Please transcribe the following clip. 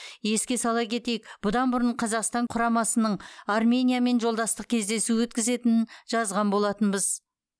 еске сала кетейік бұдан бұрын қазақстан құрамасының армениямен жолдастық кездесу өткізетінін жазған болатынбыз